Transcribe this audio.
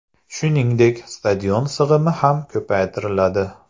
Shuningdek, stadion sig‘imi ham ko‘paytiriladi.